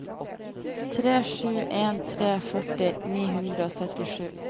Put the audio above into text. tre sju en tre førti ni hundre og syttisju